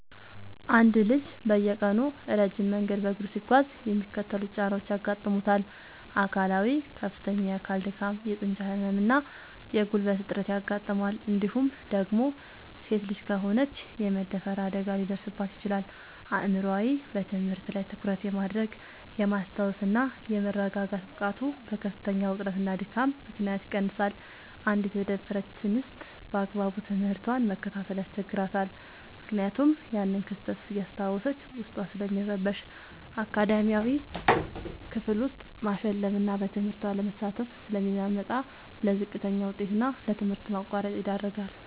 አንድ ልጅ በየቀኑ ረጅም መንገድ በእግሩ ሲጓዝ የሚከተሉት ጫናዎች ያጋጥሙታል፦ አካላዊ፦ ከፍተኛ የአካል ድካም፣ የጡንቻ ህመም እና የጉልበት እጥረት ያጋጥመዋል እንዲሁም ደግሞ ሴት ልጅ ከሆነች የመደፈር አደጋ ሊደርስባት ይችላል። አእምሯዊ፦ በትምህርት ላይ ትኩረት የማድረግ፣ የማስታወስ እና የመረጋጋት ብቃቱ በከፍተኛ ውጥረትና ድካም ምክንያት ይቀንሳል: አንዲት የተደፈረች እንስት ባግባቡ ትምህርቷን መከታተል ያስቸግራታል ምክንያቱም ያንን ክስተት እያስታወሰች ዉስጧ ስለሚረበሽ። አካዳሚያዊ፦ ክፍል ውስጥ ማሸለብና በትምህርቱ አለመሳተፍ ስለሚመጣ: ለዝቅተኛ ውጤት እና ለትምህርት ማቋረጥ ይዳረጋል።